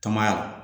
Tɔn ya la